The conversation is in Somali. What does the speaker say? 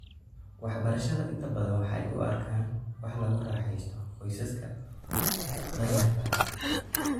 Waxbarashada inta badan waxa ay u arkaan wax lagu raaxaysto qoysaska danyarta ah.